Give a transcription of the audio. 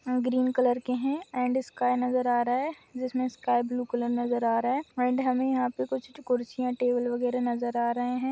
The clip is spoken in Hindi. ग्रीन कलर के है एण्ड स्काइ नजर आ रहा है जिसमे स्काइब्लू कलर नजर आ रहा है एण्ड हमे यहाँ पे कुछ कुर्सिया टेबल वैगेरा नजर आ रहे है।